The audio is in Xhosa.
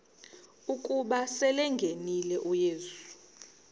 ukuba selengenile uyesu